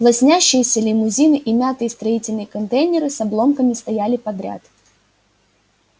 лоснящиеся лимузины и мятые строительные контейнеры с обломками стояли подряд